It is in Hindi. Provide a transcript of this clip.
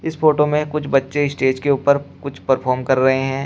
फोटो में कुछ बच्चे स्टेज के ऊपर कुछ परफॉर्म कर रहे हैं।